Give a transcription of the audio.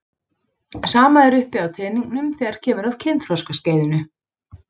Sama er uppi á teningnum þegar kemur að kynþroskaskeiðinu.